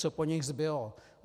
Co po nich zbylo?